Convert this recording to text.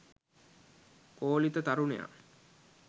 කෝලිත තරුණයා